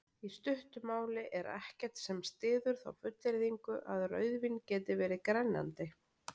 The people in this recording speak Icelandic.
Í stuttu máli er ekkert sem styður þá fullyrðingu að rauðvín geti verið grennandi.